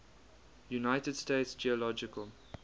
united states geological